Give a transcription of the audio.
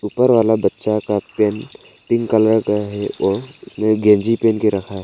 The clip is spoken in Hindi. ऊपर वाला बच्चा का पेंट पिंक कलर का है और उसने गंजी पहन के रखा है।